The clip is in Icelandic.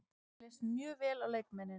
Mér leist mjög vel á leikmennina.